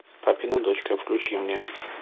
папина дочка включи мне